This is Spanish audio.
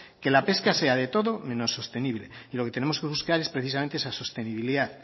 que la pesca sea de todo menos sostenible y lo que tenemos que buscar es precisamente esa sostenibilidad